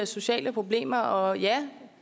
sociale problemer og ja